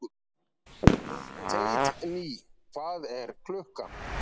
Teitný, hvað er klukkan?